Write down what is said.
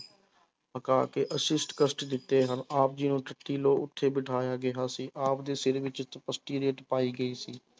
ਕਸ਼ਟ ਦਿੱਤੇ ਹਨ ਆਪ ਜੀ ਨੂੰ ਤੱਤੀ ਲੋਅ ਉੱਤੇ ਬਿਠਾਇਆ ਗਿਆ ਸੀ ਆਪ ਦੇ ਸਿਰ ਵਿੱਚ ਰੇਤ ਪਾਈ ਗਈ ਸੀ।